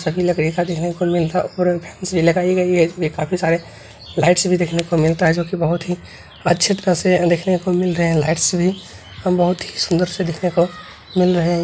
सभी लकड़ी का भी लगाई गई है इसमें बहुत सारे लाइट्स भी देखने को मिलता है जो की बहुत ही अच्छे तरह से देखने को मिल रहा है लाइट्स भी हम बहुत ही सुंदर से देखने को मिल रहे हैं।